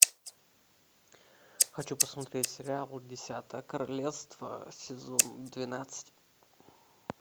хочу посмотреть сериал десятое королевство сезон двенадцать